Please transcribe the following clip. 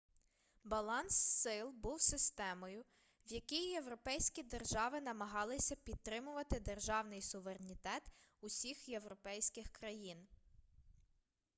баланс сил був системою в якій європейські держави намагалися підтримувати державний суверенітет усіх європейських країн